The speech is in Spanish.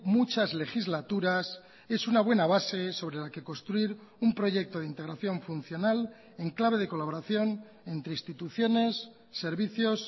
muchas legislaturas es una buena base sobre la que construir un proyecto de integración funcional en clave de colaboración entre instituciones servicios